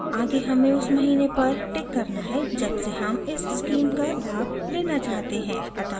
आगे हमें उस महीने पर टिक करना है जब से हम इस स्कीम का लाभ लेना चाहते हैं अतः मैं जुलाई पर टिक करुँगी